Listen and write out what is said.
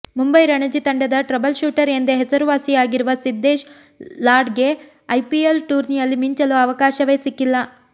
ಮುಂಬೈ ರಣಜಿ ತಂಡದ trouble shooter ಎಂದೇ ಹೆಸರುವಾಸಿಯಾಗಿರುವ ಸಿದ್ದೇಶ್ ಲಾಡ್ಗೆ ಐಪಿಎಲ್ ಟೂರ್ನಿಯಲ್ಲಿ ಮಿಂಚಲು ಅವಕಾಶವೇ ಸಿಕ್ಕಿಲ್ಲ